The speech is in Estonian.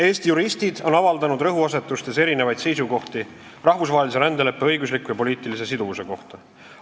Eesti juristid on avaldanud rõhuasetuste poolest erinevaid seisukohti rahvusvahelise rändeleppe õigusliku ja poliitilise siduvuse kohta.